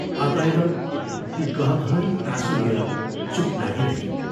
अतएव ती गहभरि आँसु लिएर चूप लागिरहिन्।